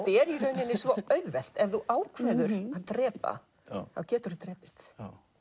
er í rauninni svo auðvelt ef þú ákveður að drepa þá geturðu drepið